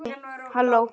Bara rugl.